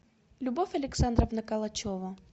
любовь александровна калачева